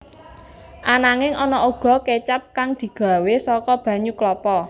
Ananging ana uga kécap kang digawé saka banyu klapa